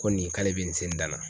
Ko nin k'ale bɛ nin se ni dan na.